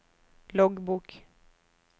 loggbok